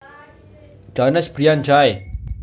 Jones Brian Jay